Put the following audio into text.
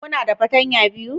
Kuna da fartanya biyu?